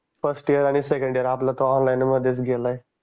First year आणि second year आपल तर ऑनलाइन मध्येच गेलंय.